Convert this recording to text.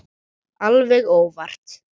Alveg óvart.